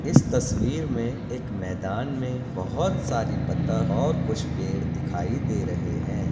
इस तस्वीर में एक मैदान में बोहत सारी बतक और कुछ पेड़ दिखाई दे रहे है।